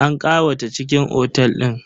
An ƙawata cikin otel din.